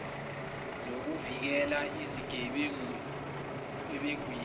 nokubavikela ezigebengwini ezihweba